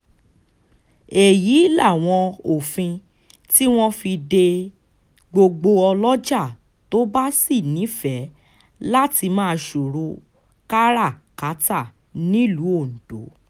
èyí làwọn òfin tí wọ́n fi de gbogbo ọlọ́jà tó bá sì nífẹ̀ẹ́ láti máa ṣòwò kárà-kátà nílùú ondo